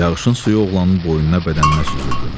Yağışın suyu oğlanın boynuna, bədəninə süzüldü.